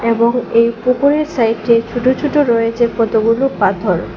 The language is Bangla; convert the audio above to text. এবং এই পুকুরের সাইটে ছোট ছোট রয়েছে কতগুলো পাথর।